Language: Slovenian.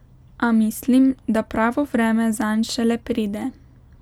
A mislim, da pravo vreme zanj šele pride.